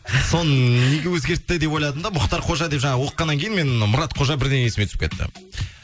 соны неге өзгертті деп ойладым да мұхтар қожа деп жаңа оқығаннан кейін мен мұрат қожа бірден есіме түсіп кетті